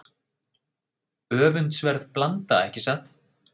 Öfundsverð blanda ekki satt?